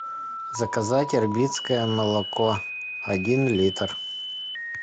заказать ирбитское молоко один литр